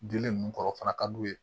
Dilen ninnu kɔrɔ o fana ka d'u ye